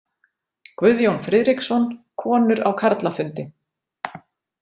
Guðjón Friðriksson, Konur á karlafundi.